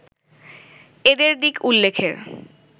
এদের দিক উল্লেখের